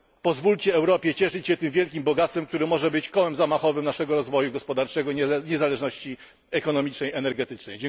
Pozwólcie Europie cieszyć się tym wielkim bogactwem, które może być kołem zamachowym naszego rozwoju gospodarczego, niezależności ekonomicznej, energetycznej.